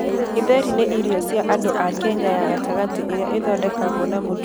Githeri nĩ irio cia andũ a Kenya ya gatagatĩ iria ithondekagwo na mũtu na ngũyũ.